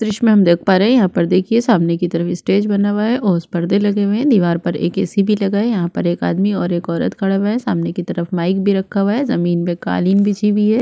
दृश्य पर हम देख पा रहे है यहाँ पर देखिये सामने की तरफ स्टेज बना हुआ है और उस पर परदे लगे हुए है दिवार पर एक ए सी भी लगा है यहाँ पर एक आदमी और एक औरत खड़े हुए है सामने की तरफ माइक भी रखा हुआ है जमीन पर कालीन बिछी हुई है |